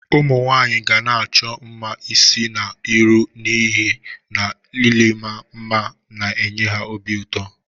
Umunwanyi ga-na acho mma isi na iru n'ihe na Iima mma na-enye ha obi uto.